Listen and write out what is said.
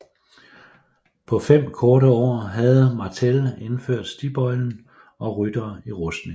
På fem korte år havde Martell indført stigbøjlen og ryttere i rustning